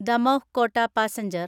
Damoh Kota passenger